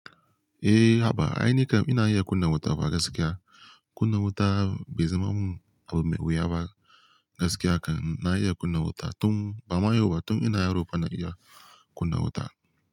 Eh, haba. Aini kam ina iya kunna wuta ba gaskiya. Kunna wuta bai zama mun abu mai wuya ba. Gaskiya kam na iya kunna wuta tun, ba mayau ba, tun ina yaro fa na iya kunna wuta.